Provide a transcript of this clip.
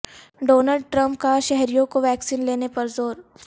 Donald Trump کا شہریوں کو ویکسین لینے پر زور